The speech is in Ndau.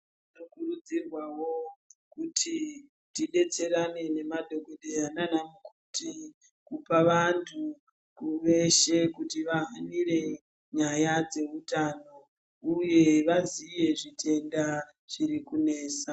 Tinokurudzirwawo kuti tidetserane nemadhokhodheya nanamukoti kupa vantu veshe kuti vahanire nyaya dzeutano uye vaziye zvitenda zviri kunesa .